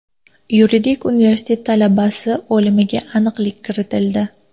Yuridik universitet talabasi o‘limiga aniqlik kiritildi.